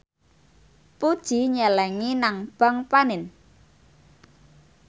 Puji nyelengi nang bank panin